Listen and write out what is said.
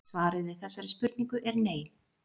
Svarið við þessari spurningu er nei.